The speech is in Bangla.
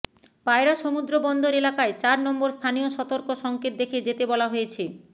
পায়রা সমুদ্র বন্দর এলাকায় চার নম্বর স্থানীয় শতর্ক সংকেত দেখে যেতে বলা হয়েছে